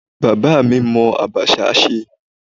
Bàbá mi mọ abacha ṣe.